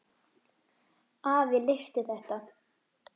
Afi leysti þetta.